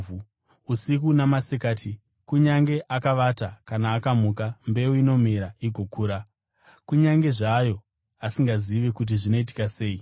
Usiku namasikati, kunyange akavata kana akamuka, mbeu inomera igokura, kunyange zvazvo asingazivi kuti zvinoitika sei.